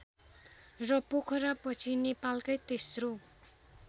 र पोखरापछि नेपालकै तेस्रो